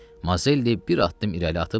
Mazelli bir addım irəli atıb dayandı.